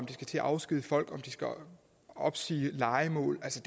de skal til at afskedige folk eller om de skal opsige lejemål altså